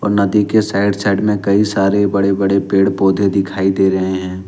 और नदी के साइड साइड में कई सारे बड़े बड़े पेड़ पौधे दिखाई दे रहे हैं।